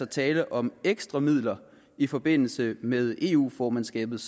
tale om ekstra midler i forbindelse med eu formandskabet